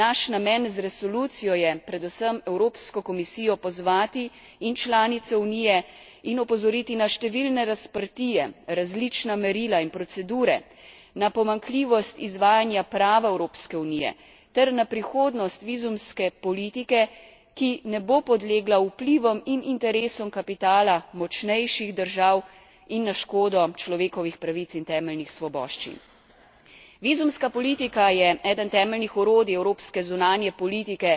Naš namen z resolucijo je predvsem Evropsko komisijo pozvati, in članice Unije, in opozoriti na številne razprtije, različna merila in procedure, na pomanjkljivost izvajanja prava Evropske unije ter na prihodnost vizumske politike, ki ne bo podlegla vplivom in interesom kapitala močnejših držav in na škodo človekovih pravic in temeljnih svoboščin. Vizumska politika je eden temeljnih orodij evropske zunanje politike